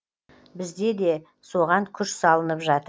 бізде де соған күш салынып жатыр